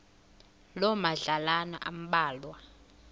loo madlalana ambalwa